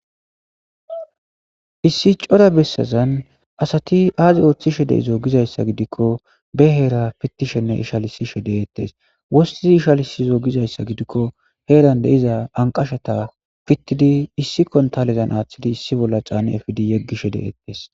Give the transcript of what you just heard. Issi cora bessazan asati aazi ooththishe de'izo giza issa gidikko ba heera pittishenne ishalisishe deettes.waththidi ishalisizo giza issa gidikko heeran de'iza anqashata pittidi issi kontalezan aaththidi issi bolla caani efidi yeggishe deettes.